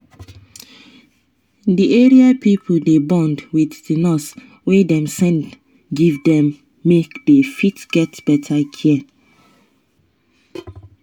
the area pipo dey bond with the nurse wey dem send give them make they fit get better care.